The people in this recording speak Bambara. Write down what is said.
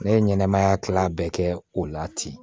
Ne ye ɲɛnɛmaya kila bɛɛ kɛ o la ten